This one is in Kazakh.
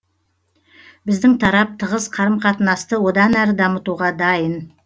біздің тарап тығыз қарым қатынасты одан әрі дамытуға дайын